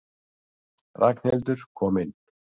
Ragnhildur kom inn.